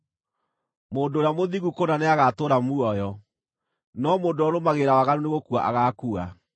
Mũndũ ũrĩa mũthingu kũna nĩagatũũra muoyo, no mũndũ ũrĩa ũrũmagĩrĩra waganu nĩ gũkua agaakua.